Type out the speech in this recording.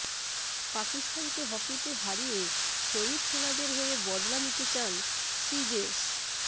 পাকিস্তানকে হকিতে হারিয়ে শহিদ সেনাদের হয়ে বদলা নিতে চান শ্রীজেশ